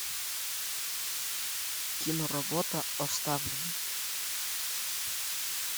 киноработа оставленный